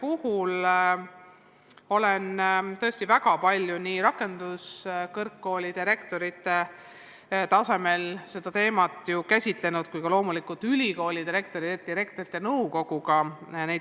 Ma olen tõesti seda teemat väga palju arutanud nii rakenduskõrgkoolide rektoritega kui ka loomulikult rektorite nõukoguga.